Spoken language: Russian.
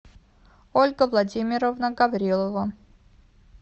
ольга владимировна гаврилова